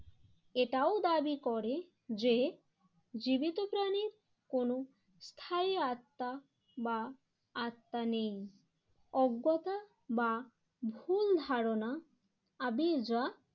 এটাও দাবি করে যে জীবিত প্রাণীর কোন স্থায়ী আত্মা বা আত্মা নেই। অজ্ঞতা বা ভুল ধারণা আবির্রা